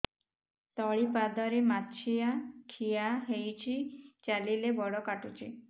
ତଳିପାଦରେ ମାଛିଆ ଖିଆ ହେଇଚି ଚାଲିଲେ ବଡ଼ କାଟୁଚି